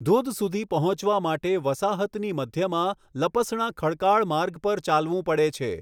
ધોધ સુધી પહોંચવા માટે વસાહતની મધ્યમાં, લપસણા ખડકાળ માર્ગ પર ચાલવું પડે છે.